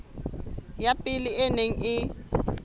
ya pele e neng e